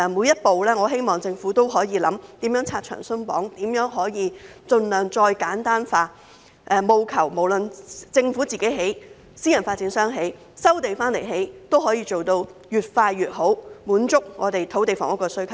因此，我希望政府會考慮每一步如何拆牆鬆綁、盡量簡化程序，務求是政府、私人發展商或收地建屋都可以做到越快越好，滿足我們土地房屋的需求。